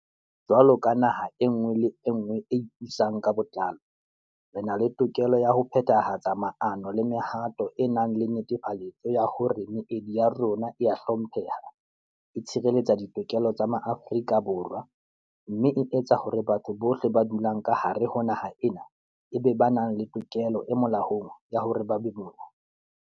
Jwalo ka naha e nngwe le e nngwe e ipusang ka botlalo, re na le tokelo ya ho phethahatsa maano le mehato e nang le netefaletso ya hore meedi ya rona e a hlompheha, e tshireletsa ditokelo tsa Maafrika Borwa, mme e tsa hore batho bohle ba dulang ka hare ho naha ena e be ba nang le tokelo e molaong ya hore ba be mona.